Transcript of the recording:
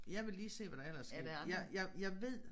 Jeg vil lige se hvad der ellers sket jeg jeg jeg ved